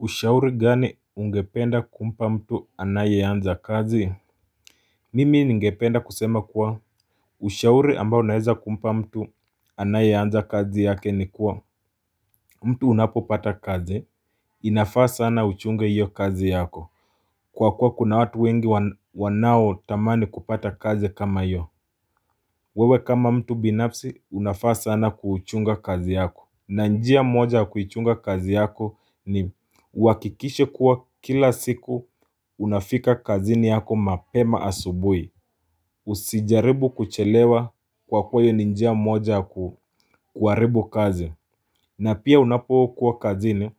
Ushauri gani ungependa kumpa mtu anayeanza kazi Mimi ningependa kusema kuwa Ushauri ambao naeza kumpa mtu anayeanza kazi yake ni kuwa mtu unapo pata kazi inafaa sana uchunge hiyo kazi yako Kwa kuwa kuna watu wengi wanao tamani kupata kazi kama hiyo wewe kama mtu binafsi unafaa sana kuchunga kazi yako na njia moja kuichunga kazi yako ni uwakikishe kuwa kila siku unafika kazini yako mapema asubuhi Usijaribu kuchelewa kwa kuwa hiyoa ni njia moja kuharibu kazi na pia unapokuwa kazini